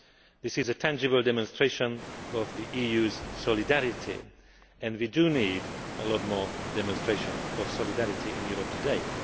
this is a tangible demonstration of the EU's solidarity, and we do need a lot more demonstration of solidarity in Europe today.